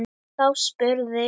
Þá spurði